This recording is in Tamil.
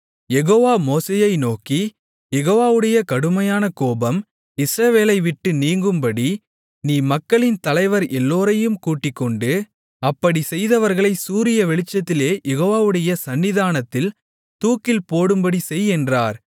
யெகோவா மோசேயை நோக்கி யெகோவாவுடைய கடுமையான கோபம் இஸ்ரவேலை விட்டு நீங்கும்படி நீ மக்களின் தலைவர் எல்லோரையும் கூட்டிக்கொண்டு அப்படிச் செய்தவர்களைச் சூரிய வெளிச்சத்திலே யெகோவாவுடைய சந்நிதானத்தில் தூக்கில்போடும்படி செய் என்றார்